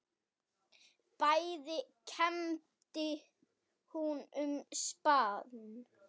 Bæði kembdi hún og spann.